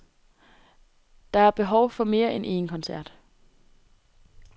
Der er behov for mere end en koncert.